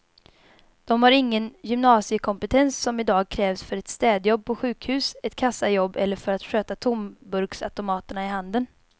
De har ingen gymnasiekompetens som i dag krävs för ett städjobb på sjukhus, ett kassajobb eller för att sköta tomburksautomaterna i handeln.